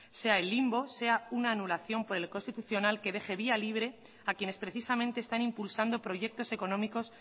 sea el limbo sea una anulación por el constitucional que deje vía libre a quienes precisamente están impulsando proyectos económicos